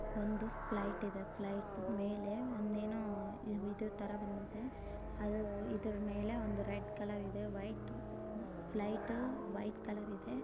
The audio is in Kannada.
ಒಂದು ಫ್ಲೈಟ್ ಇದೆ ಫ್ಲೈಟ್ ಮೇಲೆ ಒಂದೆನು ಇದ್ದರೂ ತರ ಬಂದಿದೆ ಅದು ಒಂದು ಇದರ ಮೇಲೆ ರೆಡ್ ಕಲರ್ ಇದೆ ಫ್ಲೈಟು ವೈಟ್ ಕಲರ್ ಇದೆ.